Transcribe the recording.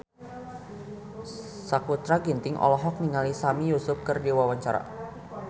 Sakutra Ginting olohok ningali Sami Yusuf keur diwawancara